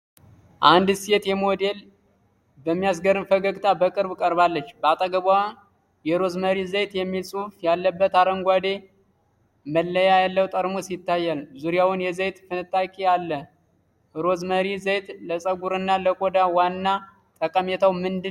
አንዲት ሴት ሞዴል በሚያስገርም ፈገግታ በቅርብ ቀርባለች። በአጠገቧ የሮዝመሪ ዘይት የሚል ጽሑፍ ያለበት አረንጓዴ መለያ ያለው ጠርሙስ ይታያል፤ ዙሪያውን የዘይት ፍንጣቂ አለ። ሮዝመሪ ዘይት ለፀጉርና ለቆዳ ዋና ጠቀሜታው ምንድነው?